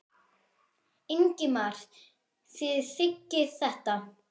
Ingimar: Þið þiggið þetta?